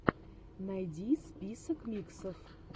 найди список миксов